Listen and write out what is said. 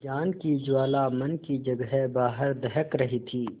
ज्ञान की ज्वाला मन की जगह बाहर दहक रही थी